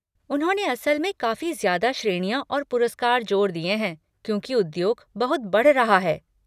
उन्होंने असल में काफी ज्यादा श्रेणियाँ और पुरस्कार जोड़ दिए हैं क्योंकि उद्योग बहुत बढ़ रहा है।